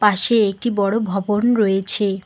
পাশে একটি বড় ভবন রয়েছে।